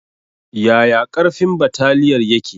Yaya ƙarfin bataliyar yake?